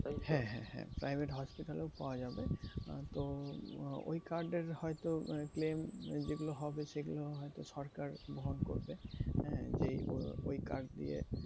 হ্যাঁ হ্যাঁ হ্যাঁ private hospital এও পাওয়া যাবে। তো ওই card এর হয়তো claim যেগুলো হবে সেগুলো হয়তো সরকার বহন করবে। হ্যাঁ যে ও~ ওই card দিয়ে